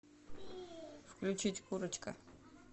включить курочка